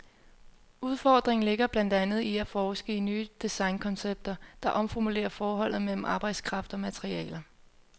Udfordringen ligger blandt andet i at forske i nye designkoncepter, der omformulerer forholdet mellem arbejdskraft og materialer.